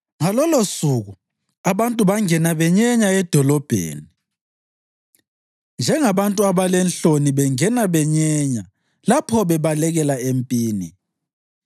Ngalolosuku abantu bangena benyenya edolobheni njengabantu abalenhloni bengena benyenya lapho bebaleka empini.